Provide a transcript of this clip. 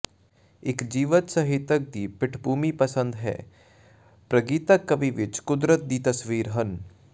ਇੱਕ ਜੀਵਤ ਸਾਹਿਤਕ ਦੀ ਪਿੱਠਭੂਮੀ ਪਸੰਦ ਹੈ ਪ੍ਰਗੀਤਕ ਕਵੀ ਵਿਚ ਕੁਦਰਤ ਦੀ ਤਸਵੀਰ ਹਨ